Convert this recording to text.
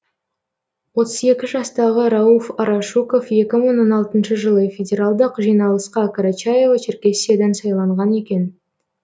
отыз екі жастағы рауф арашуков екі мың он алтыншы жылы федералдық жиналысқа карачаево черкесиядан сайланған екен